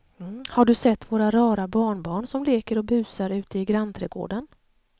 Har du sett våra rara barnbarn som leker och busar ute i grannträdgården!